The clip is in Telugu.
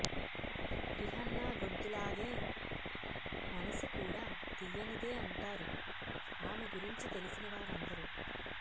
రిహాన్నా గొంతులాగే మనసు కూడా తీయనిదే అంటారు ఆమె గురించి తెలిసిన వారందరూ